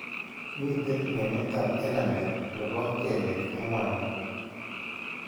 Miten ng'emetap enamel ne po kelek ang'wanu.